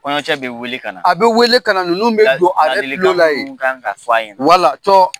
kɔɲɔcɛ bɛ weele kana a bɛ weele kana ninnu bɛ don a yɛrɛ kulo la ye ladilikan minnu ka kan ka fɔ ye wala cɔ